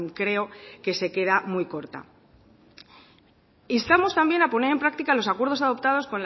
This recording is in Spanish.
creo que se queda muy corta instamos también a poner en práctica los acuerdos adoptados